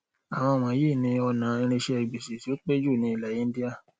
àwọn íwọnyìí ni ọnà irinṣẹ gbèsè tó pẹ jù ní ilẹ índíà